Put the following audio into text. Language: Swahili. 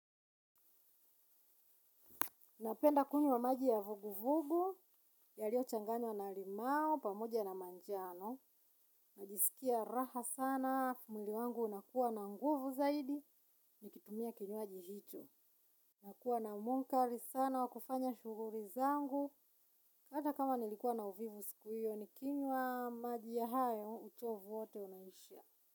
Napenda kunywa maji ya vuguvugu, yaliyochanganywa na limau, pamoja na manjano. Najisikia raha sana, mwili wangu unakuwa na nguvu zaidi, nikitumia kinywaji hicho. Nakuwa na munkari sana, wa kufanya shughuli zangu, hata kama nilikuwa na uvivu siku hiyo, nikinywa maji ya hayo, uchovu wote unaisha.